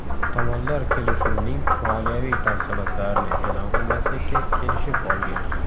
Tomonlar kelishuvning moliyaviy tafsilotlarini e’lon qilmaslikka kelishib olgan.